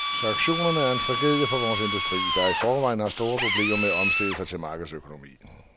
Sanktionerne er en tragedie for vores industri, der i forvejen har store problemer med at omstille sig til markedsøkonomi.